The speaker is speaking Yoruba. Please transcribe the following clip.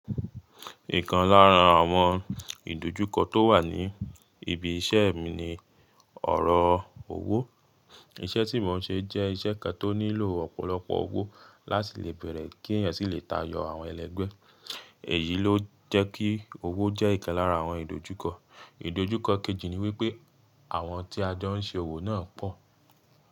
Ìkan lára àwọn ìdojúkọ tó wà ní ibi iṣẹ́ mi ni ọ̀rọ̀ owó. Iṣẹ́ tí mò ń ṣe jẹ́ iṣẹ́ kan tó nílò ọ̀pọ̀lọpọ̀ owó láti lè bẹ̀rẹ̀ kí èèyàn sì lè tayọ àwọn ẹlẹ́gbẹ́. Èyí ló jẹ́ kí owó jẹ́ ìkan lára àwọn ìdojúkọ. Ìdojúkọ kejì ni wípé àwọn tí a jẹ ń ṣe òwò náà pọ̀